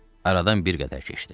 Aradan bir qədər keçdi.